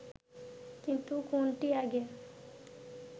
কিন্তু কোনটি আগে